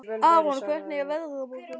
Aron, hvernig er veðrið á morgun?